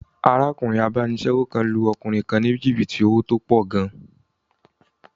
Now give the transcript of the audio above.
Arákùnrin abánisẹ́wò kan lu ọkùnrin ní jìbìtì owó tó pọ̀ gan